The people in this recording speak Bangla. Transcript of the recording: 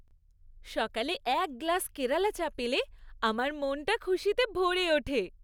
সকালে এক গ্লাস কেরালা চা পেলে আমার মনটা খুশিতে ভরে ওঠে।